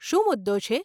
શું મુદ્દો છે?